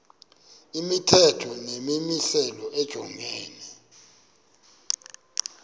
imithetho nemimiselo lijongene